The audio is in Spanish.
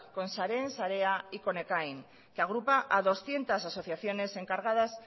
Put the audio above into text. con sareen sarea y con ekain que agrupa a doscientos asociaciones encargadas